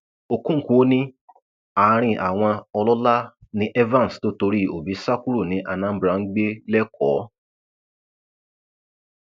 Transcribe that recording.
okonkwo ní àárín àwọn ọlọlá ni evans tó torí òbí sá kúrò ní anambra ń gbé lẹkọọ